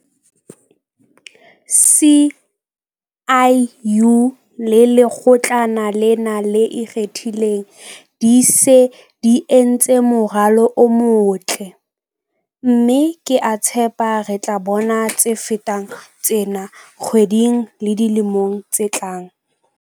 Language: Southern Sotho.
SIU le Lekgotlana lena le Ikgethileng di se di entse moralo o motle, mme ke a tshepa re tla bona tse fetang tsena dikgweding le dilemong tse tlang.